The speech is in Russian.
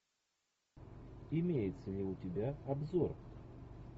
имеется ли у тебя обзор